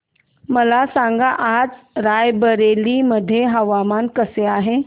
मला सांगा आज राय बरेली मध्ये हवामान कसे आहे